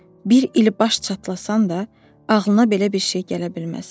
Bir il baş çatlasan da ağlına belə bir şey gələ bilməz.